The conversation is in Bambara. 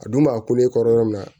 A dun b'a kun ne kɔrɔ yɔrɔ min na